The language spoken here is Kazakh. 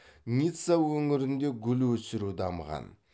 ницца өңірінде гүл өсіру дамыған